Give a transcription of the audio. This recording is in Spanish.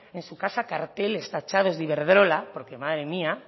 en su casa carteles tachados de iberdrola porque madre mía